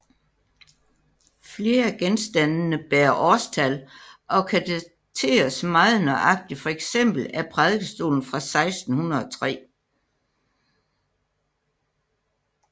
Flere af genstandene bærer årstal og kan dateres meget nøjagtigt Fx er prædikestolen fra 1603